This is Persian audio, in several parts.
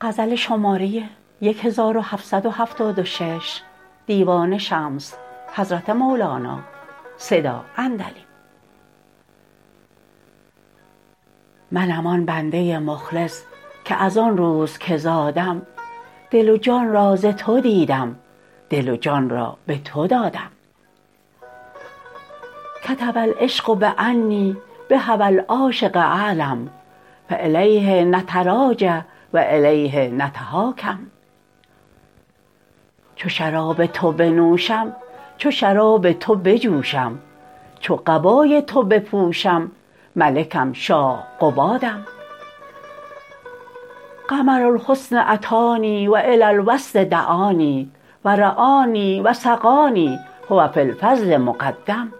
منم آن بنده مخلص که از آن روز که زادم دل و جان را ز تو دیدم دل و جان را به تو دادم کتب العشق بانی بهوی العاشق اعلم فالیه نتراجع و الیه نتحاکم چو شراب تو بنوشم چو شراب تو بجوشم چو قبای تو بپوشم ملکم شاه قبادم قمر الحسن اتانی و الی الوصل دعانی و رعانی و سقانی هو فی الفضل مقدم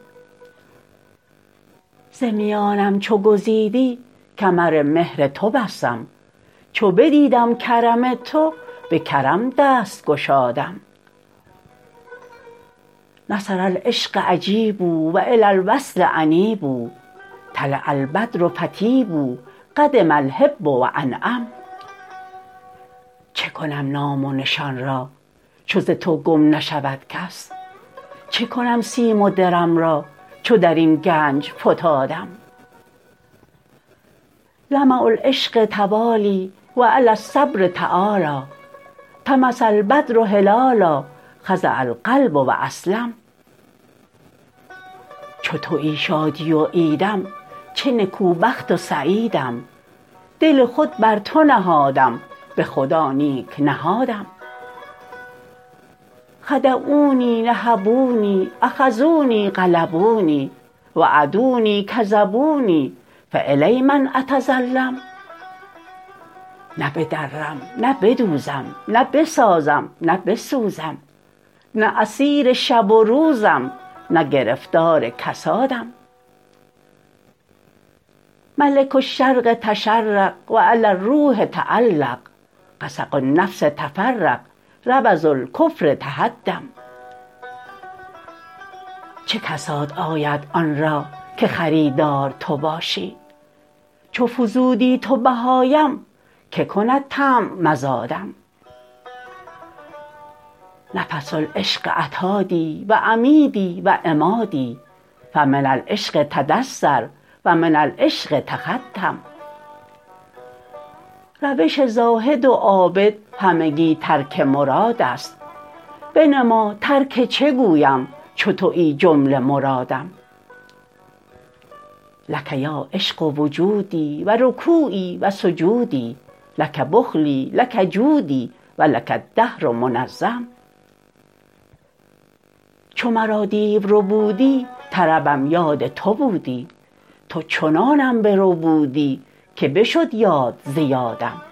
ز میانم چو گزیدی کمر مهر تو بستم چو بدیدم کرم تو به کرم دست گشادم نصر العشق اجیبوا و الی الوصل انیبوا طلع البدر فطیبوا قدم الحب و انعم چه کنم نام و نشان را چو ز تو گم نشود کس چه کنم سیم و درم را چو در این گنج فتادم لمع العشق توالی و علی الصبر تعالی طمس البدر هلالا خضع القلب و اسلم چو توی شادی و عیدم چه نکوبخت و سعیدم دل خود بر تو نهادم به خدا نیک نهادم خدعونی نهبونی اخذونی غلبونی وعدونی کذبونی فالی من اتظلم نه بدرم نه بدوزم نه بسازم نه بسوزم نه اسیر شب و روزم نه گرفتار کسادم ملک الشرق تشرق و علی الروح تعلق غسق النفس تفرق ربض الکفر تهدم چه کساد آید آن را که خریدار تو باشی چو فزودی تو بهایم که کند طمع مزادم نفس العشق عتادی و عمیدی و عمادی فمن العشق تدثر و من العشق تختم روش زاهد و عابد همگی ترک مراد است بنما ترک چه گویم چو توی جمله مرادم لک یا عشق وجودی و رکوعی و سجودی لک بخلی لک جودی و لک الدهر منظم چو مرا دیو ربودی طربم یاد تو بودی تو چنانم بربودی که بشد یاد ز یادم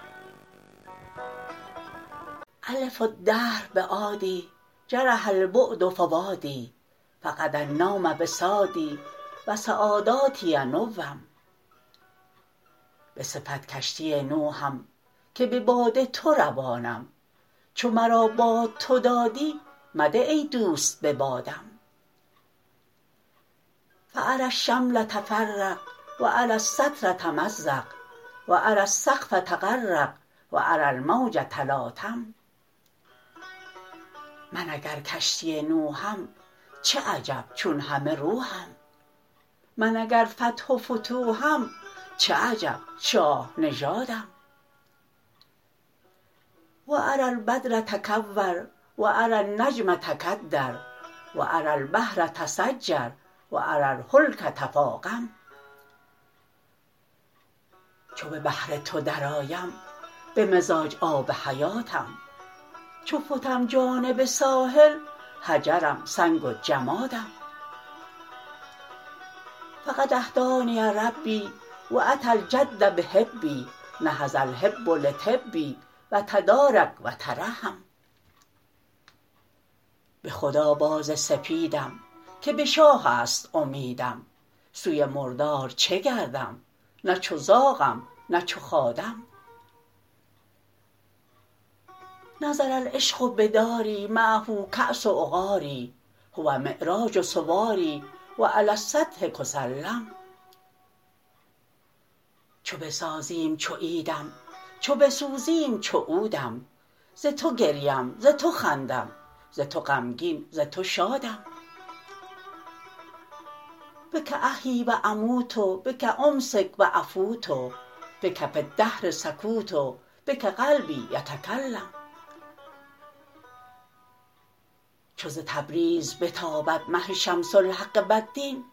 الف الدهر بعادی جرح البعد فؤادی فقد النوم وسادی و سعاداتی نوم به صفت کشتی نوحم که به باد تو روانم چو مرا باد تو دادی مده ای دوست به بادم فاری الشمل تفرق و اری الستر تمزق و اری السقف تخرق و اری الموج تلاطم من اگر کشتی نوحم چه عجب چون همه روحم من اگر فتح و فتوحم چه عجب شاه نژادم و اری البدر تکور و اری النجم تکدر و اری البحر تسجر و اری الهلک تفاقم چو به بحر تو درآیم به مزاج آب حیاتم چو فتم جانب ساحل حجرم سنگ و جمادم فقد اهدانی ربی و اتی الجد بحبی نهض الحب لطبی و تدارک و ترحم به خدا باز سپیدم که به شاه است امیدم سوی مردار چه گردم نه چو زاغم نه چو خادم نزل العشق بداری معه کاس عقاری هو معراج سواری و علی السطح کسلم چو بسازیم چو عیدم چو بسوزیم چو عودم ز تو گریم ز تو خندم ز تو غمگین ز تو شادم بک احیی و اموت بک امسک و افوت بک فی الدهر سکوت بک قلبی یتکلم چو ز تبریز بتابد مه شمس الحق والدین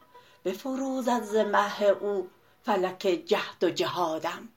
بفروزد ز مه او فلک جهد و جهادم